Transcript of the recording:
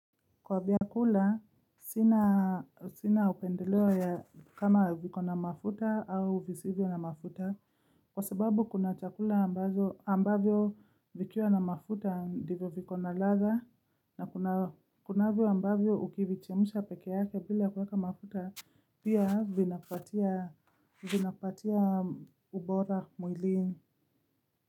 Kwa vyakula sina upendeleo ya kama viko na mafuta au visivyo na mafuta kwa sababu kuna chakula ambazo ambavyo vikiwa na mafuta ndivyo viko na ladha kunavyo ambavyo ukivichemsha peke yake bila kuweka mafuta pia vinapatia ubora mwilini.